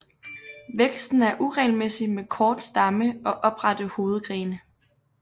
Væksten er uregelmæssig med kort stamme og oprette hovedgrene